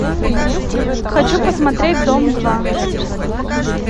хочу посмотреть дом два